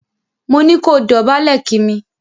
Mo ní kó dòbálè kí mi!